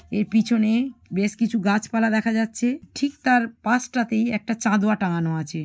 এর পিছনে বেশ কিছু গাছপালা দেখা যাচ্ছে। ঠিক তার পাশটাতেই একটা চাঁদোয়া টাঙানো আছে।